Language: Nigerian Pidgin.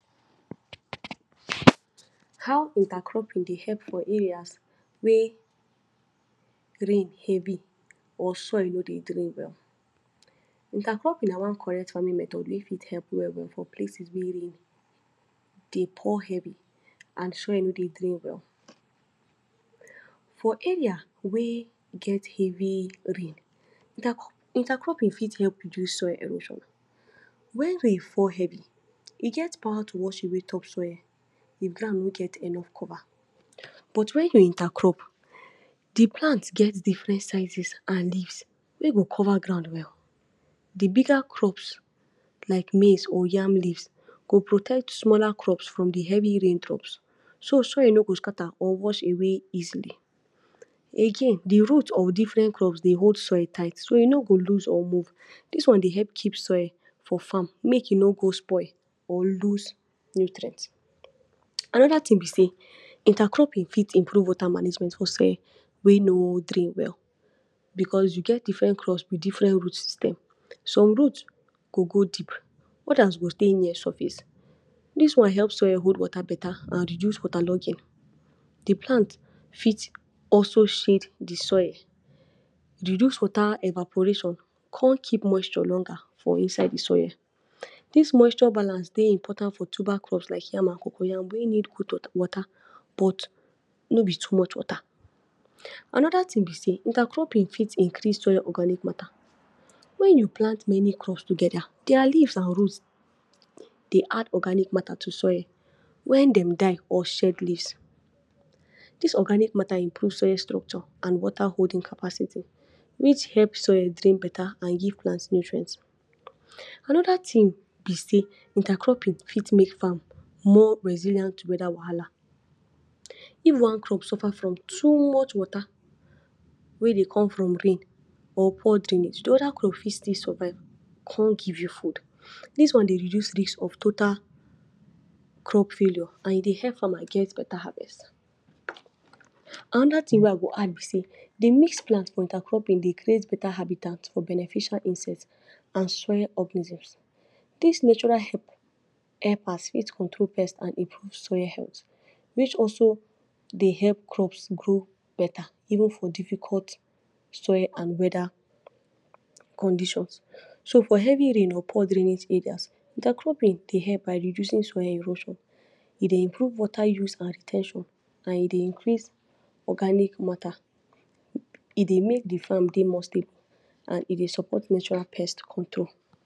How intercropping de help for areas wey rain heavy or soil no de drain well. Intercropping na one correct farming method wey fit help well well for places wey rain de pour heavy and soil no de drain well. For area wey get heavy rain, intercropping fit help reduce soil erosion when rain fall heavy, e get power to wash away top soil, de ground no get enough cover but when de intercrop, the plant get different sizes and leaves wey go cover ground well. The bigger crops like maize or yam leaves go protect smaller crop from de heavy rain drops, so soil no go scatter or wash away easily again de root of different crop de hold soil tight so e no go loose or move dis one de help keep soil for farm make e no go spoil or loose nutrient. another thing be sey intercropping fit improve water management for soil wey no drain well because we get different crops with different root system. Some root go go deep others go stay near surface, dis one help soil hold water beta and reduce water logging de plant fit also shade de soil, e de reduce water evaporation, come keep moisture longer for inside de soil. Dis moisture balance de important for tuber crops like yam and coco yam wey need good water but no be too much water another thing be sey intercropping fit increase soil organic matter when you plant many crops together their leafs and root de add organic matter to soil wen dem die or shed leaves. Dis organic matter improve soil structure and water holing capacity which help soil drain better and give plant nutrient. Another thing be sey intercropping fit make farm more resilient weather wahala if one crop suffer from too much water wey de come from rain or poor drainage de other crop fit still survive come give you food. this one dey reduce risk of total crop failure and e de help farmer get better harvest. another thing wey I go add be sey de mix plant for intercropping dey create beta habitant for beneficial insect and soil organisms. dis natural helpers fit control pest and improve soil health which also de help crops grow better even for difficult soil and whether condition so for heavy rain or poor drainage area, intercropping de help by reducing soil erosion e dey improve water use and re ten tion and e de increase organic matter e de make de farm de more stable and e de support natural pest control.